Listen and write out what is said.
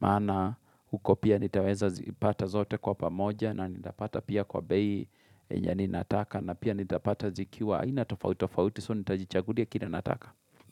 Maana huko pia nitaweza zipata zote kwa pamoja na nitapata pia kwa bei yenye ni nataka na pia nita pata zikiwa. Aina tofautitofauti, so nitajichagulia kile nataka.